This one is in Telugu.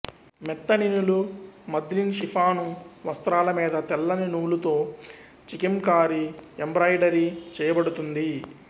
మెత్తని నులు మద్లిన్ షిఫాను వస్త్రాల మీద తెల్లని నూలుతో చికెంకారీ ఎంబ్రాయిడరీ చేయబడుతుంది